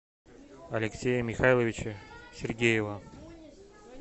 алексея михайловича сергеева